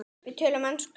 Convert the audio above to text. Við töluðum ensku.